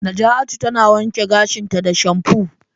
Naja'atu tana wanke gashinta da shamfu.